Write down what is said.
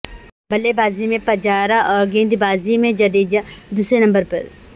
بلے بازی میں پجارا ا ور گیندبازی میں جڈیجہ دوسرے نمبر پر